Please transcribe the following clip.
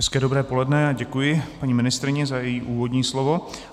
Hezké dobré poledne, děkuji paní ministryni za její úvodní slovo.